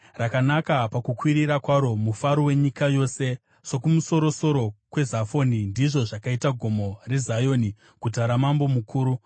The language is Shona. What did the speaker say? Rakanaka pakukwirira kwaro, mufaro wenyika yose. Sokumusoro-soro kweZafoni, ndizvo zvakaita Gomo reZioni, guta raMambo Mukuru.